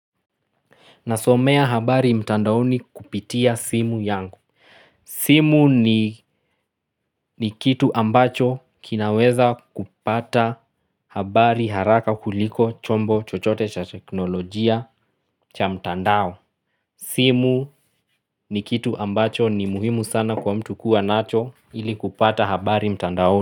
Nasomea habari mtandaoni kupitia simu yangu. Simu ni kitu ambacho kinaweza kupata habari haraka kuliko chombo chochote cha teknolojia cha mtandao. Simu ni kitu ambacho ni muhimu sana kwa mtu kuwa nacho ili kupata habari mtandaoni.